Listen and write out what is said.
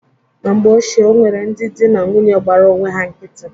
Na mgbe ochie, o nwere ndị dị na nwunye gbara onwe ha nkịtị.